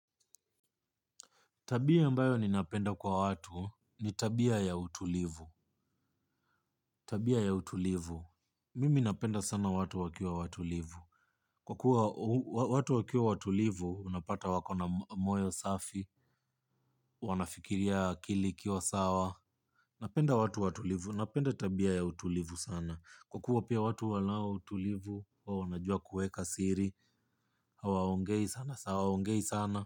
Tabia ambayo ninapenda kwa watu, ni tabia ya utulivu. Tabia ya utulivu. Mimi napenda sana watu wakiwa watulivu. Kwa kuwa watu wakiwa watulivu, unapata wako na moyo safi, wanafikiria akili ikiwa sawa. Napenda watu watulivu, napenda tabia ya utulivu sana. Kwa kuwa pia watu wanao utulivu, wao wanajua kueka siri, hawaongei sana, hawaongei sana.